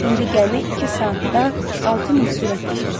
İndi gəmi iki saatda 6 mil sürətlə gedirdi.